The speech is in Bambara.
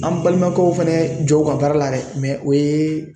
An balimakɛw fana jɔ u ka baara la dɛ o ye